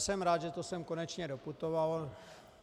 Jsem rád, že to sem konečně doputovalo.